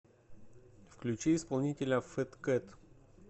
включи исполнителя фэткэт